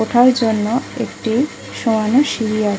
ওঠার জন্য একটি সোয়ানো সিড়ি আ--